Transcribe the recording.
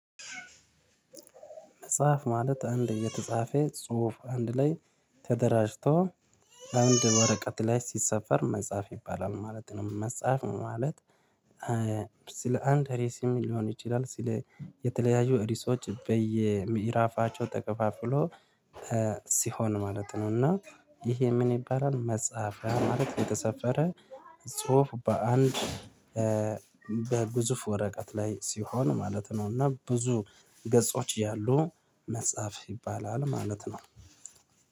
መጽሐፍ ማለት አንድ የተጻፈ ጽሁፍ አንድ ላይ ተደራጅቶ አንድ ወረቀት ላይ ሲሰፈር መጻፍ ይባላል ማለት ነው። መጻፍ ማለት እ። ስለ አንድ ርዕስም ሊሆን ይችላል ስለ የተለያዩ ርዕሶች በየምዕራፋቸው ተከፋፍሎ እ ሲሆን ማለት ነው። እና ይሄ ምን ይባላል? መጽሐፍ ማለት የተሰፈረ ጽሁፍ በአንድ በግዙፍ ወረቀት ላይ ሲሆን ማለት ነው። እና ብዙ ገጾች ያሉ መጽሐፍ ይባላል ማለት ነው